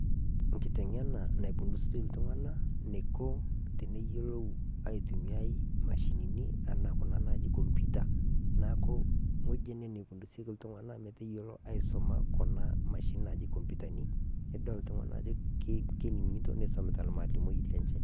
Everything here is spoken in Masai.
Enkitengéna naifundis iltunganak niko teneyiolou aitumia mashinini enaa kuna enaa naj kompiuta neaku ewueji ene negirai aifundishayieki iltunganak metayiolo enaa mashini naji kompiuta nidol kininigíto iltung'anak isumita olmalimui lenya